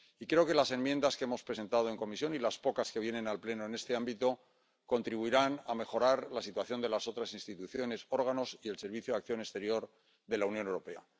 Creo que las enmiendas que hemos presentado en comisión y las pocas que vienen al Pleno en este ámbito contribuirán a mejorar la situación de las otras instituciones y órganos y del Servicio de Acción Exterior de la Unión Europea.